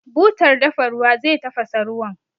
Butar dafa ruwa zai tafasa ruwan.